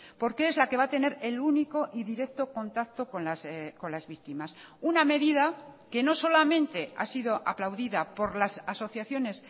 porque es la que va a tener el único y directo contacto con las víctimas una medida que no solamente ha sido aplaudida por las asociaciones